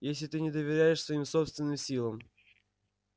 если ты не доверяешь своим собственным силам